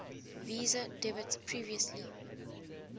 visa debit previously